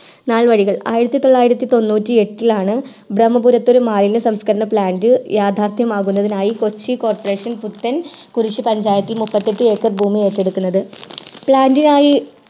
നാൾവഴികൾ ആയിരത്തിൽ തൊള്ളായിരത്തി എട്ടിലാണ് ബ്രഹ്മപുരത്തു ഒരു മാലിന്യ സംസ്കരണ plant യാഥാർഥ്യം ആകുന്നതിനായി കൊച്ചി coporation പുത്തൻ കുരിശു പഞ്ചായത്തിൽ മൂപ്പത്തിയെട്ടു ഏക്കർ ഭൂമി ഏറ്റു എടുക്കുന്നത് plant നായി